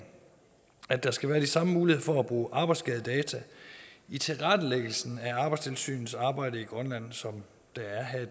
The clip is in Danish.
at der skal være de samme muligheder for at bruge arbejdsskadedata i tilrettelæggelsen af arbejdstilsynets arbejde i grønland som der er her i